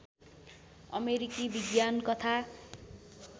अमेरिकी विज्ञान कथा